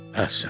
Əhsən.